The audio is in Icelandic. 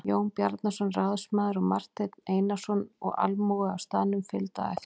Jón Bjarnason ráðsmaður og Marteinn Einarsson og almúgi á staðnum fylgdi á eftir.